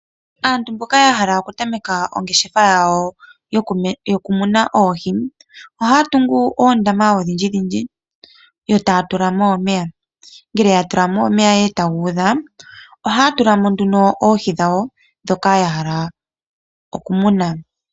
Aantu mboka yahala okuninga oongeshefa yoohi ohaa tungu uundama yotaatulamo omeya. Ngele yatulamo omeya eetaga udha ohaatulamo nduna oohi dhawo dhoka yahala okumuna.